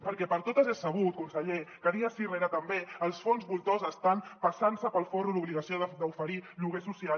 perquè per totes és sabut conseller que dia sí rere també els fons voltors estan passant se pel forro l’obligació d’oferir lloguer social